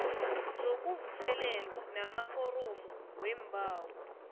zokuvuselelwa namaforomo weembawo